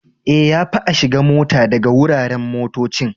Eh, ya fi a shiga mota daga wuraren motocci.